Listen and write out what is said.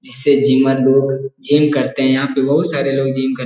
जिसे जीमत लोग जिम करते हैं यहाँ बहोत सारे लोग जिम कर --